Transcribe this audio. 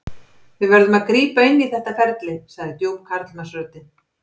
Við verðum að grípa inn í þetta ferli, sagði djúp karlmannsröddin.